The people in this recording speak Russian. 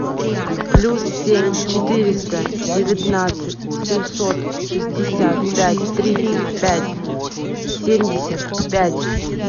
плюс семь четыреста девятнадцать семьсот шестьдесят пять тридцать пять семьдесят пять